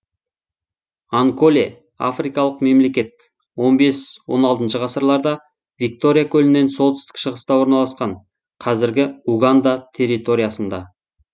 анколе африкалық мемлекет он бес он алтыншы ғасырларда виктория көлінен солтүстік шығыста орналасқан қазіргі уганда территориясында